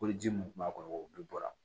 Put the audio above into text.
Ko ji mun kun b'a kɔnɔ o bɛɛ bɔra